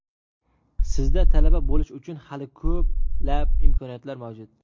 Sizda talaba bo‘lish uchun hali ko‘plab imkoniyatlar mavjud!